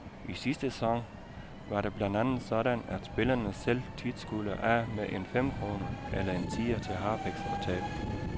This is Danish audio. I sidste sæson var det blandt andet sådan, at spillerne selv tit skulle af med en femkrone eller en tier til harpiks og tape.